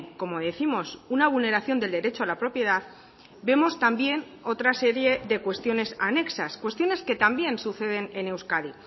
como décimos una vulneración del derecho a la propiedad vemos también otra serie de cuestiones anexas cuestiones que también suceden en euskadi